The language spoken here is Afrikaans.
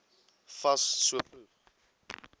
fas so vroeg